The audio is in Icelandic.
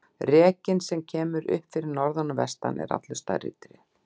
Rekinn sem kemur upp fyrir norðan og vestan er allur stærri tré.